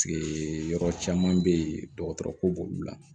yɔrɔ caman be yen dɔgɔtɔrɔ ko b'olu la